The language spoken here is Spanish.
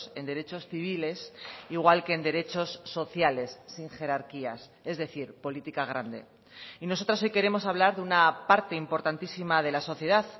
en derechos civiles igual que en derechos sociales sin jerarquías es decir política grande y nosotras hoy queremos hablar de una parte importantísima de la sociedad